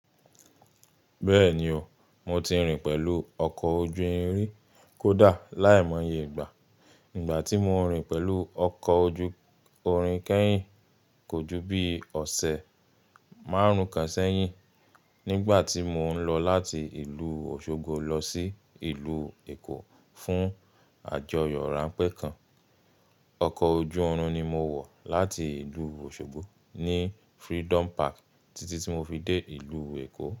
Bẹ́ẹ̀ni o, mo ti rìn pẹ̀lú ọkọ̀ ojú irin rí. Kódà láìmoye ìgbà. Ìgbà tí mo ń rìn pẹ̀lú ọkọ̀ ojú-irin kẹ́yìn, kò ju bí ọ̀sẹ̀ márùn-ún kan sẹ́yìn. Nígbàtí mo ń lọ láti ìlú Osogbo lọ sí ìlú Eko fún àjọyọ̀ ránpẹ́ kan. Ọkọ̀ ojú-irin ni mo wọ̀ láti ìlú Òṣogbo ní Freedom Park títí tí mo fi dé ìlú Èkó.